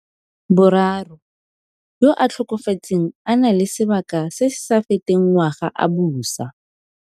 boraro, yo a tlhokafetseng a na le sebaka se se sa feteng ngwaga a busa.